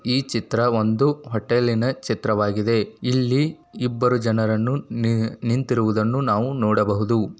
ಈ ಚಿತ್ರ ಒಂದು ಹೊಟೇಲ್ಲಿನ ಚಿತ್ರವಾಗಿದೆ. ಇಲ್ಲಿ ಇಬ್ಬರು ಜನರನ್ನು ನಿ-ನಿಂತಿರುವುದನ್ನು ನಾವು ನೋಡಬಹುದು.